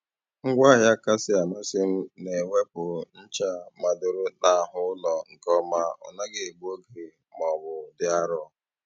Ngwaahịa kasị amasị m na - ewepụ ncha madoro n'ahụ ụlọ nke ọma ọ naghị egbu oge ma ọ bụ dị arọ.